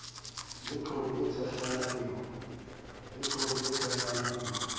le thope e tshehlana eo